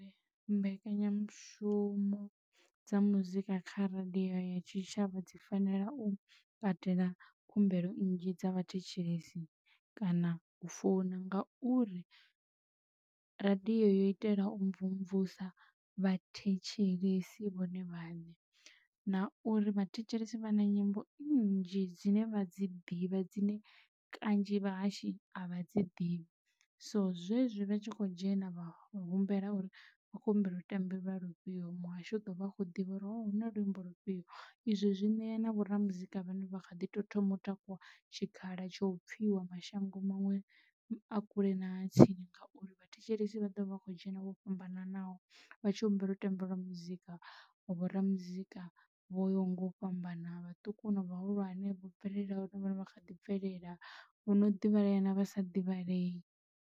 Mbekanyamushumo dza muzika kha radiyo ya tshitshavha dzi fanela u katela khumbelo nnzhi dza vhathetshelesi kana u founa ngauri radiyo yo itela u mvumvusa vhathetshelesi vhone vhaṋe, na uri vhathetshelesi vha na nyimbo nnzhi dzine vha dzi ḓivha dzine kanzhi vhahashi a vha dzi ḓivhi so zwezwi vha tshi khou dzhena vhahumbela uri vha khou humbela u ṱambeliwa lufhio muhashi u ḓo vha a kho ḓivha uri huna lumba lufhio izwi zwi ṋea na vho ra muzika vhane vha kha ḓi tou thoma u takuwa tshikhala tsho u pfhiwa mashango muṅwe a kule na tsini. Ngauri vha thetshelesi vha ḓovha vha kho dzhena vho fhambananaho vha tshi humbela u tambeliwa muzika wa bora muzika vho nga u fhambana vhaṱuku na vhahulwane vho bvelelahone vhone vha kha ḓi bvelela vho no ḓivha kana vha sa divhalei.